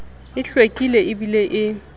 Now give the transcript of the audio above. e hlwekileng e bileng e